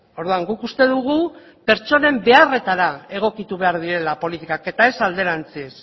orduan guk uste dugu pertsonen beharretara egokitu behar direla politikak eta ez alderantziz